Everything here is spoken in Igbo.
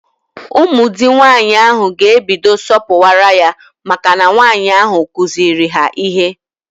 Ụmụ di nwaanyị ahụ ga ebido sọpuwara ya maka na nwaanyi ahụ kuziiri ha ihe